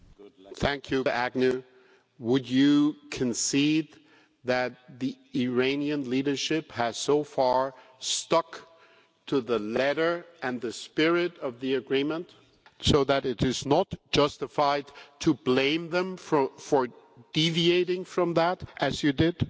Mr Agnew, would you concede that the Iranian leadership has so far stuck to the letter and the spirit of the agreement, so it is not justified to blame them for deviating from that, as you did?